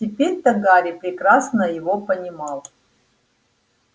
теперь-то гарри прекрасно его понимал